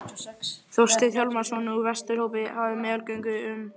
Þorsteinn Hjálmsson úr Vesturhópi hefði meðalgöngu um.